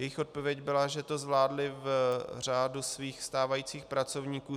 Jejich odpověď byla, že to zvládli v řádu svých stávajících pracovníků.